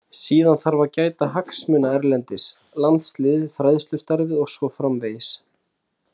Síðan þarf að gæta hagsmuna erlendis, landsliðið, fræðslustarfið og svo framvegis.